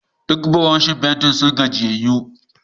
Duk buroshin fenti sun gajiyayyu.